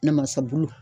Ne masabulu